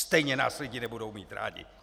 Stejně nás lidi nebudou mít rádi!